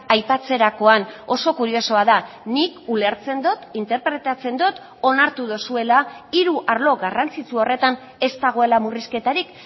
aipatzerakoan oso kuriosoa da nik ulertzen dut interpretatzen dut onartu duzuela hiru arlo garrantzitsu horretan ez dagoela murrizketarik